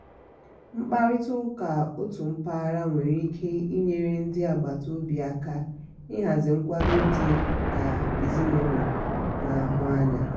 mkparịta ụka otu mpaghara nwere ike inyere ndi agbata obi aka ịhazi nkwado dị ka ezinaụlọ na-ahụ n'anya.